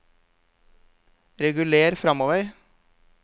reguler framover